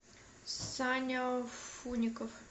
саня фуников